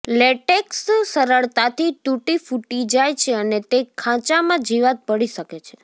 latex સરળતાથી તૂટી ફૂટી જાય છે અને તે ખાંચામાં જીવાત પડી શકે છે